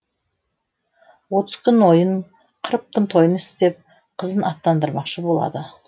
отыз күн ойын қырық күн тойын істеп қызын аттандырмақшы болады